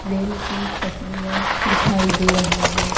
Rail की पटरियाँ दिखाई दें रहीं हैं।